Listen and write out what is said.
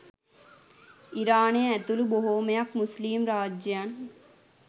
ඉරානය ඇතුළු බොහොමයක් මුස්ලිම් රාජ්‍යයන්